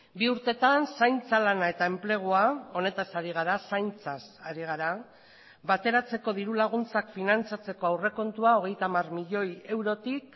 bi urtetan zaintza lana eta enplegua honetaz ari gara zaintzaz ari gara bateratzeko dirulaguntzak finantzatzeko aurrekontua hogeita hamar milioi eurotik